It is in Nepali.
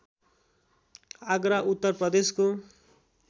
आगरा उत्तर प्रदेशको